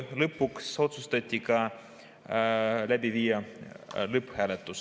Lõpuks otsustati täna läbi viia ka lõpphääletus.